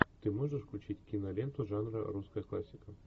ты можешь включить киноленту жанра русская классика